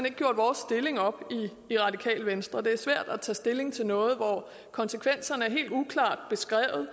ikke gjort vores stilling op i radikale venstre det er svært at tage stilling til noget hvor konsekvenserne er helt uklart beskrevet